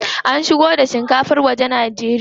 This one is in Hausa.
Ana shigo da shinkafar waje Najeriya.